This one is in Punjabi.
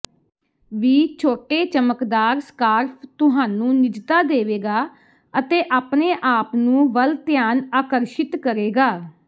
ਵੀ ਛੋਟੇ ਚਮਕਦਾਰ ਸਕਾਰਫ਼ ਤੁਹਾਨੂੰ ਨਿਜਤਾ ਦੇਵੇਗਾ ਅਤੇ ਆਪਣੇ ਆਪ ਨੂੰ ਵੱਲ ਧਿਆਨ ਆਕਰਸ਼ਿਤ ਕਰੇਗਾ